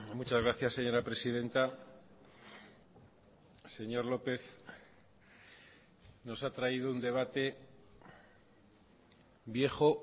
muchas gracias señora presidenta señor lópez nos ha traído un debate viejo